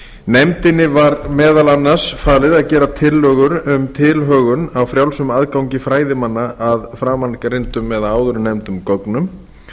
nefndinni var meðal annars falið að gera tillögur um tilhögun á frjálsum aðgangi fræðimanna að framangreindum gögnum